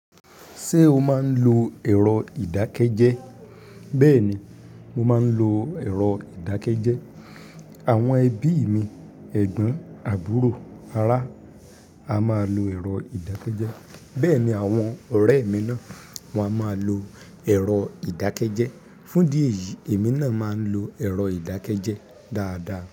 Ṣé o máa ń lo ẹ̀rọ ìdákẹ́jẹ́? Bẹ́ẹ̀ni, mo máa ń lo ẹ̀rọ ìdákẹ́jẹ́. Àwọn ẹbí mi: ẹ̀gbọ́n, àbúrò, ará, a máa lo ẹ̀rọ ìdákẹ́jẹ́. Bẹ́ẹ̀ ni àwọn ọ̀rẹ́ mi náà, wọ́n a máa lo ẹ̀rọ ìdákẹ́jẹ́. Fún'dí ẹ̀yìí, èmi náà máa ń lo ẹ̀rọ ìdákẹ́jẹ́ dáadáa.